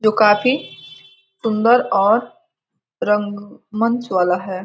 जो काफी सुन्दर और रंग-मंच वाला है।